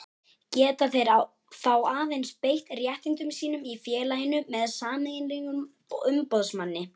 Geta þeir þá aðeins beitt réttindum sínum í félaginu með sameiginlegum umboðsmanni.